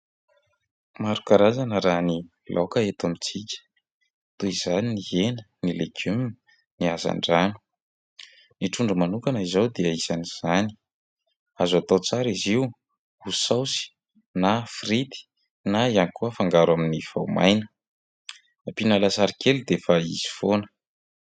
Maro karazana raha ny laoka eto amintsika, toy izany ny hena, ny legioma, ny hazandrano. Ny trondro manokana izao dia isan'izany. Azo atao tsara izy io ho saosy na frity na ihany koa afangaro amin'ny voamaina. Ampiana lasary kely dia efa izy foana.